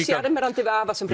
sjarmerandi við afa sem